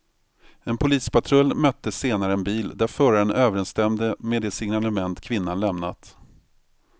En polispatrull mötte senare en bil där föraren överensstämde med det signalement kvinnan lämnat.